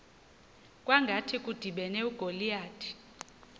kwangathi kudibene ugoliyathi